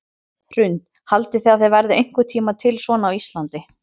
Hrund: Haldið þið að það verði einhvern tímann til svona á Íslandi?